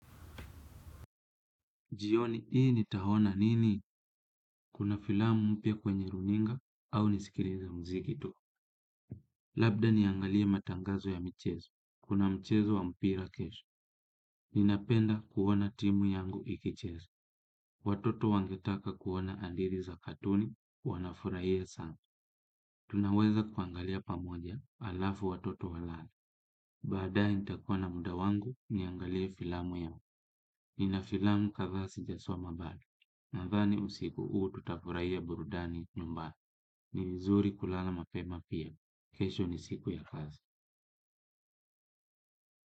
Jioni hii nitaona nini? Kuna filamu mpya kwenye runinga au nasikilize muziki tu. Labda niangalie matangazo ya mchezo. Kuna mchezo wa mpira kesho. Ninapenda kuona timu yangu ikicheza. Watoto wangetaka kuona vipindi vya katuni, wanafurahia sana. Tunaweza kuangalia pamoja, halafu watoto walale. Baadaye nitakuwa na muda wangu, niangalie filamu yangu. Nina filamu kadhaa sijasoma bado. Nadhani usiku huu tutafurahia burudani nyumbani. Ni vizuri kulala mapema pia. Kesho ni siku ya kazi.